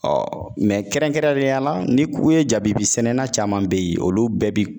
kɛrɛnkɛrɛnnenya la ni ku ye jabibi sɛnɛna caman be ye olu bɛɛ bi